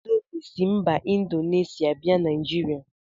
Indomi si mba Indonesia bia Naijiria.